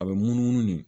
A bɛ munumunu de